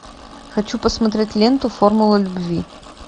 хочу посмотреть ленту формула любви